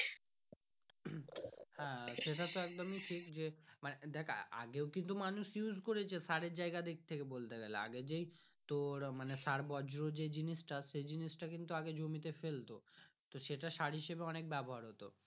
আহ সেটা তো একদমই টিক যে মানে আগে কিন্তু মানুষ use করেছে স্যারের যাইগা দিক থাকে বলতে গেলে। আগে যেই তোর মানে স্যারের বজ্য যে জিনিস তা সে জিনিস টা কিন্তু আগে জমি তে ফেলতো সেটা সার হিসাবে অনেক ব্যবহার হতো।